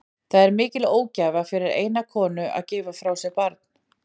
Það er mikil ógæfa fyrir eina konu að gefa frá sér barn.